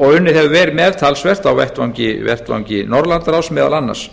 og unnið hefur verið með talsvert á vettvangi norðurlandaráðs meðal annars